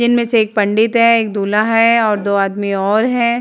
जिनमें से एक पंडित हैएक दूल्हा है और दो आदमी और हैं।